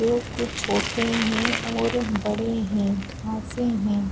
वो कुछ छोटे है और बड़े है हैं ।